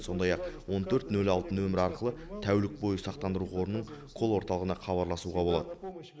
сондай ақ он төрт нөл алты нөмірі арқылы тәулік бойы сақтандыру қорының кол орталығына хабарласуға болады